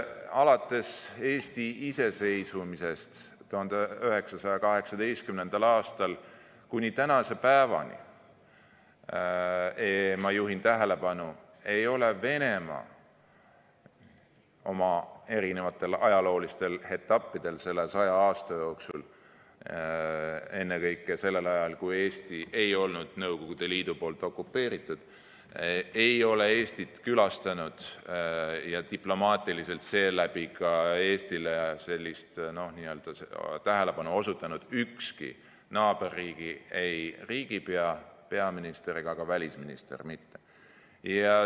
Alates Eesti iseseisvumisest 1918. aastal kuni tänase päevani, ma juhin tähelepanu, ei ole erinevatel ajalooetappidel selle 100 aasta jooksul, ennekõike sellel ajal, kui Eesti ei olnud Nõukogude Liidu poolt okupeeritud, Eestit külastanud ega diplomaatiliselt seeläbi ka Eestile sellist tähelepanu osutanud ükski naaberriigi riigipea, peaminister ega ka välisminister.